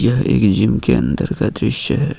यह एक जिम के अंदर का दृश्य है।